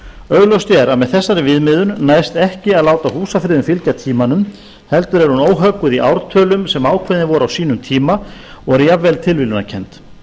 augljóst er að með þessari viðmiðun næst ekki að láta húsafriðun fylgja tímanum heldur er hún óhögguð í ártölum sem ákveðin voru á sínum tíma og eru jafnvel tilviljunarkennd